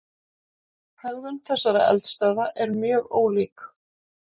Hegðun þessara eldstöðva er mjög ólík.